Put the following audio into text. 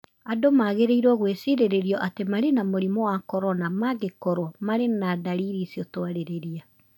Andũ magĩrĩirũo gwĩciririo atĩ marĩ na mũrimũ wa corona mangĩkorũo marĩ na ndariri icio twarĩrĩria.